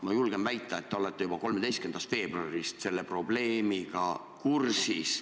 Ma julgen väita, et te olete juba 13. veebruarist selle probleemiga kursis.